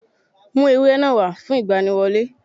Mú ewúrẹ́ náà wá fún ìgbaniwọlé